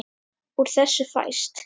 Úr þessu fæst